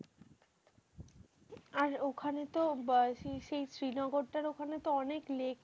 আর ওখানে তো আহ সেই সেই শ্রীনগরটার ওখানে তো অনেক লেক।